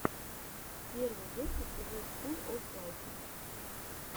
первый выпуск зе скул оф лайфа